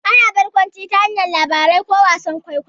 Ana barkwanci ta hanyar labarai ko wasan kwaikwayo.